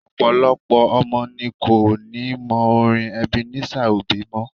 Ọ̀pọ̀lọpọ̀ ọmọ ní ko ni mọ orin Ebenezer Obey mọ́.